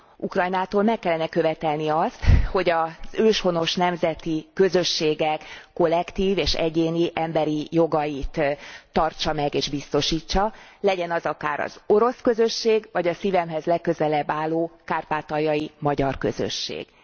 Ukrajnától meg kellene követelni azt, hogy 1. az őshonos nemzeti közösségek kollektív és egyéni emberi jogait tartsa meg és biztosítsa legyen az akár az orosz közösség, akár a szívemhez legközelebb álló kárpátaljai magyar közösség.